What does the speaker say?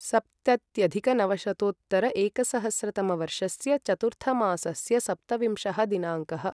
सप्तत्यधिकनवशतोत्तर एकसहस्रतमवर्षस्य चतुर्थमासस्य सप्तविंशः दिनाङ्कः